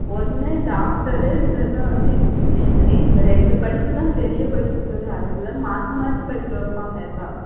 ஒன்னு doctor உ இல்லன்னா வந்து engineer உ. இந்த ரெண்டு படிப்பு தான் பெரிய படிப்பு. அதுக்கு தான் மாத்தி மாத்தி படிக்க வைப்பாங்க எல்லாம்.